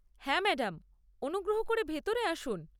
হ্যাঁ, ম্যাডাম, অনুগ্রহ করে ভিতরে আসুন।